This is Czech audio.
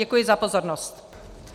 Děkuji za pozornost. .